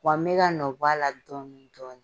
Wa n bɛ ka nɔ b'a la dɔɔni dɔɔni